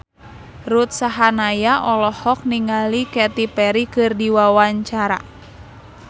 Ruth Sahanaya olohok ningali Katy Perry keur diwawancara